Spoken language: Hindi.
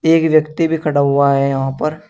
एक व्यक्ति भी खड़ा हुआ है यहां पर।